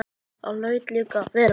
Það hlaut líka að vera.